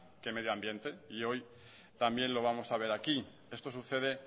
que medio ambiente y hoy también lo vamos a ver aquí esto sucede